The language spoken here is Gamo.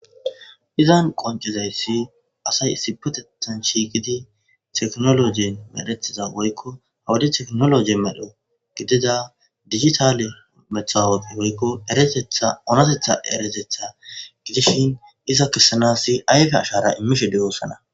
Izani qoniccizayis asayi issippetethani shiqiddi tekkinoloje medhetiza woyikko dijitale matawiqiya woyikko erateththa onatetha erateththa gidishshin ayife ashshara immishshe deosoona